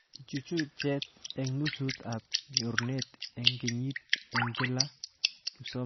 Ichuchuchet eng nusut ab nyorunet eng kenyit eng kila kipsomaniat eng baitab nguno